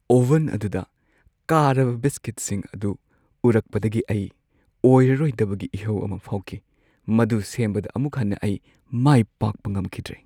Oven ꯑꯗꯨꯗ ꯀꯥꯔꯕ ꯕꯤꯁꯀꯤꯠꯁꯤꯡ ꯑꯗꯨ ꯎꯔꯛꯄꯗꯒꯤ ꯑꯩ ꯑꯣꯏꯔꯔꯣꯏꯗꯕꯒꯤ ꯏꯍꯧ ꯑꯃ ꯐꯥꯎꯈꯤ ꯫ ꯃꯗꯨ ꯁꯦꯝꯕꯗ ꯑꯃꯨꯛ ꯍꯟꯅ ꯑꯩ ꯃꯥꯏ ꯄꯥꯛꯄ ꯉꯝꯈꯤꯗ꯭ꯔꯦ꯫